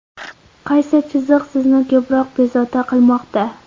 Qaysi chiziq sizni ko‘proq bezovta qilmoqda?